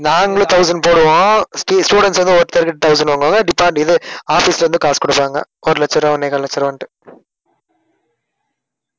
நாங்களும் thousand போடுவோம். stu~ students வந்து ஒருத்தர்க்கு thousand வாங்குவாங்க. department இது office ல இருந்து காசு கொடுப்பாங்க. ஒரு லட்ச ரூபாய் ஒண்ணே கால் லட்ச ரூபான்னுட்டு